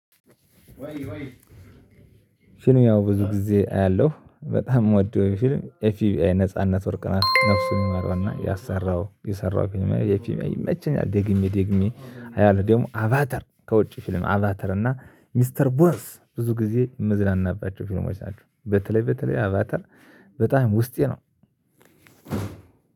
ፊልም ያው ብዙ ጊዜ አያለሁ በጣም የምወደው ፊልም ኤፍ ቢ አይ ነጻነት ወርቅነህ ነፍሱን ይማረውና ያሰራው የሰራው ፊልም ላይ ይመቸኛል። ደግሜ ደግሜ አያለሁ ደግሞ አቫተር ከውጪ ፊልም አቫተር እና ሚስተር ቦርስ ብዙ ጊዜ ምዝናናባቸው ፊልሞች ናቸው። በተለይ በተለይ አቫተር በጣም ውስጤ ነው።